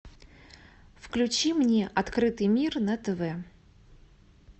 включи мне открытый мир на тв